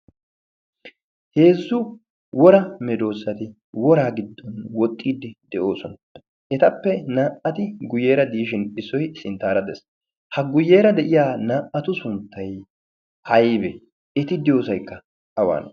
heezzu wora medoossati woraa giddon woxxiiddi de7oosona. etappe naa77ati guyyeera diishin issoi sinttaara dees. ha guyyeera de7iya naa77atu sunttai aibe? eti diyoosaikka awane?